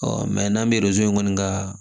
n'an bɛ zonzan kɔni ka